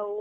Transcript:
ଆଉ